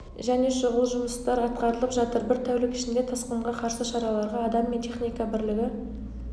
және шұғыл жұмыстар атқарылып жатыр бір тәулік ішінде тасқынға қарсы шараларға адам мен техника бірлігі